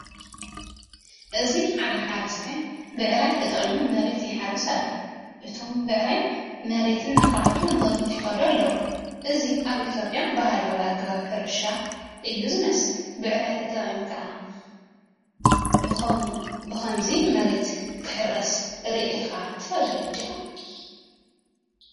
ኣብዚ ሓደ ሓረስታይ ብዕራይ ተጠቒሙ መሬት ይሓርስ ኣሎ። እቶም ብዕራይ መሬት እናዃዕቱ ንቕድሚት ይኸዱ ኣለዉ። እዚ ኣብ ኢትዮጵያ ባህላዊ ኣገባብ ሕርሻ እዩ ዝመስል። ብዕራይ ተጠቒምካ ብኸምዚ መሬት ክሕረስ ርኢኻ ትፈልጥ ዲኻ?